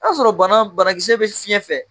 sɔrɔ bana banakisɛkisɛ bɛ fiɲɛ fɛ.